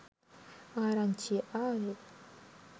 ආරංචිය ආවෙ.